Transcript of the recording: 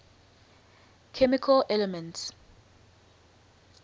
chemical elements